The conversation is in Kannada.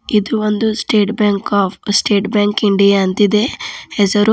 ಇದು ಒಂದು state bank of state bank India ಅಂತಿದೆ ಹೆಸರು.